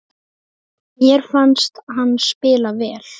Mér fannst hann spila vel.